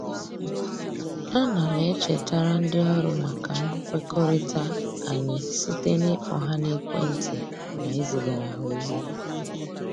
A na m echetara ndị ọrụ maka mkwekọrịta anyị site na-ịkpọ ha n'ekwentị na izigara ha ozi